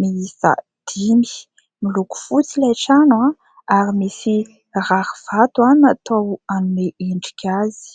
miisa dimy. Miloko fotsy ilay trano ary misy rarivato ary natao anome endrika azy.